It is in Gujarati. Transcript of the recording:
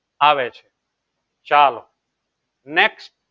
આવે છે ચાલો next